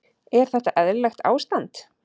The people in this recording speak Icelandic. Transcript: Er þetta eðlilegt ástand?